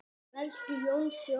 Elsku Jónsi okkar.